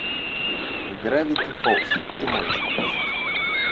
гравити фолз ты можешь показать